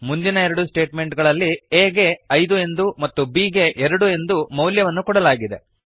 ಮುಂದಿನ ಎರಡು ಸ್ಟೇಟ್ಮೆಂಟ್ ಗಳಲ್ಲಿ a ಗೆ ಐದು ಎಂದೂ ಮತ್ತು b ಗೆ ಎರಡು ಎಂದು ಮೌಲ್ಯವನ್ನು ಕೊಡಲಾಗಿದೆ